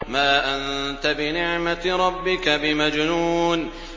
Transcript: مَا أَنتَ بِنِعْمَةِ رَبِّكَ بِمَجْنُونٍ